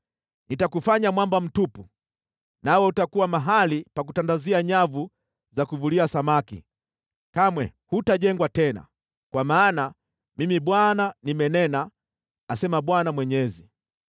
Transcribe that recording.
Nitakufanya mwamba mtupu, nawe utakuwa mahali pa kutandazia nyavu za kuvulia samaki. Kamwe hutajengwa tena, kwa maana Mimi Bwana nimenena, asema Bwana Mwenyezi.